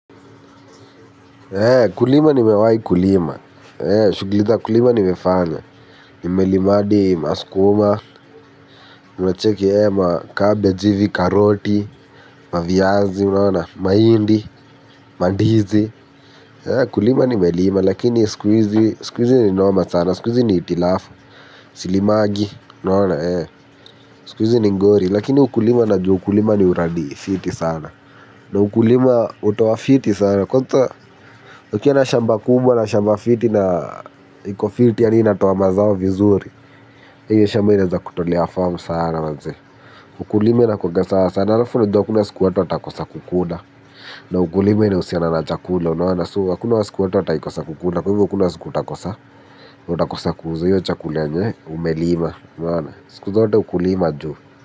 Kulima nimewai kulima, shughuli za kulima nimefanya, nimelima hadi maskuma, unacheki macabbage hivi karoti, maviazi, mahindi, mandizi, kulima nimelima, lakini siku hizi ni noma sana, siku hizi ni hitilafo, silimangi, sikuhizi ni ngori, lakini ukulima na jua ukulima ni uradi fiti sana. Na ukulima hutoa fiti sana. Kwanza ukiwa na shamba kubwa na shamba fiti na iko fiti yani inatoa mazao vizuri. Hiyo shamba inaweza kutolea form sana maze. Ukulima inakuwanga sawa sana. Halafu unajua hakuna siku watu watakosa kukula. Na ukulima ina husiana na chakula. Unaona so. Hakuna siku watu watawahi kosa kukula. Kwa hivo hakuna siku utakosa. Hiyo chakula yenye umelima. Unaona. Siku zote ukulima juu.